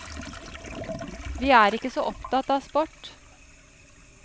Vi er ikke så opptatt av sport.